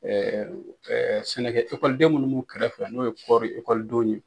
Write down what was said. sɛnɛkɛ ekɔlidenw minnu m'u kɛrɛfɛ n'o ye kɔɔri ikɔlidenw ye.